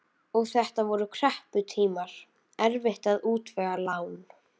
Og þetta voru krepputímar, erfitt að útvega lán.